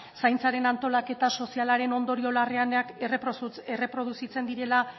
zaintzaren antolaketa sozialaren ondorio larrienak erreproduzitzen direla